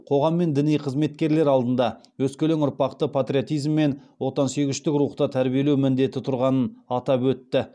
қоғам мен діни қызметкерлер алдында өскелең ұрпақты патриотизм мен отансүйгіштік рухта тәрбиелеу міндеті тұрғанын атап өтті